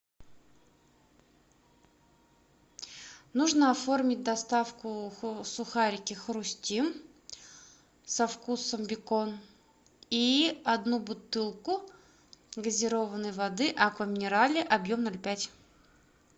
нужно оформить доставку сухарики хрустим со вкусом бекон и одну бутылку газированной воды аква минерале объем ноль пять